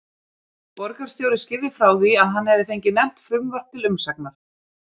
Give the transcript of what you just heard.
Borgarstjóri skýrði frá því, að hann hefði fengið nefnt frumvarp til umsagnar.